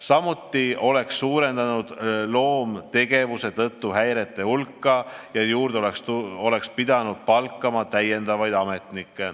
Samuti oleks see suurendanud loomtegevuse tõttu tekkinud häirete hulka ja oleks pidanud ametnikke juurde palkama.